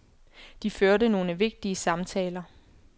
De førte nogle vigtige samtaler.